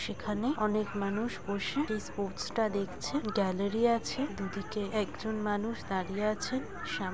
সেখানে অনেক মানুষ বসে এই ষ্পোর্টস -টা দেখছে গ্যালারি আছে দুদিকে ।এখানে একজন মানুষ দাঁড়িয়ে আছে সাম--